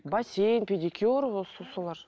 бассейн педикюр солар